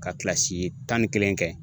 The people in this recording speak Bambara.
Ka kilasi tan ni kelen kɛ